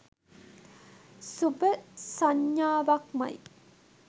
සුභ සඤ්ඤාවක්මයි.